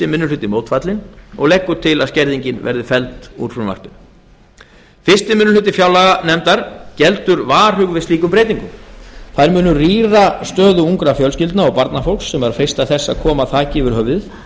hluti mótfallinn og leggur til að skerðingin verði felld úr frumvarpinu fyrsti minni hluti fjárlaganefndar geldur varhug við slíkum breytingum þær munu rýra stöðu ungra fjölskyldna og barnafólks sem er að freista þess að koma þaki yfir höfuðið